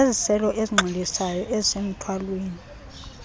zeziselo ezinxilisayo ezisemthwalweni